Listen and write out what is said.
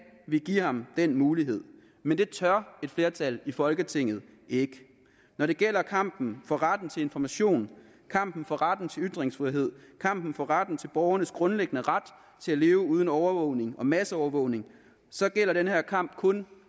vi give ham den mulighed men det tør et flertal i folketinget ikke når det gælder kampen for retten til information kampen for retten til ytringsfrihed kampen for retten til borgernes grundlæggende ret til at leve uden overvågning og masseovervågning gælder den kamp kun